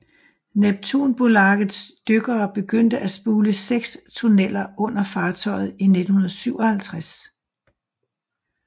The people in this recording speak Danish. Neptunbolagets dykkere begyndte at spule seks tunneller under fartøjet i 1957